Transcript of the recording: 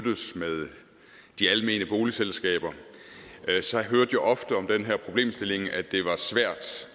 de almene boligselskaber hørte jeg ofte om den her problemstilling at det var svært